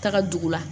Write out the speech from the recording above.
Taga dugu la